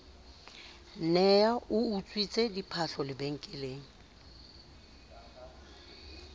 ne a utswitse diphahlo lebenkeleng